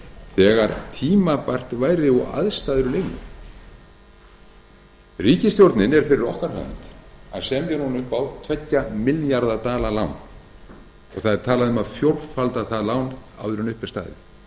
þegar tímabært væri og aðstæður leyfðu ríkisstjórnin er fyrir okkar hönd að semja upp á tveggja milljarða dala lán og talað er um að fjórfalda það lán áður en upp er staðið